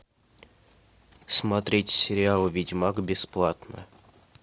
смотреть сериал ведьмак бесплатно